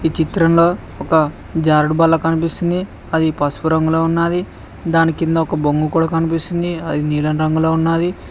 ఈ చిత్రంలో ఒక జారుడుబల్ల కనిపిస్తుంది అది పసుపు రంగులో ఉన్నాది దాని కింద ఒక బొంగు కూడా కనిపిస్తుంది అది నీలం రంగులో ఉన్నాది.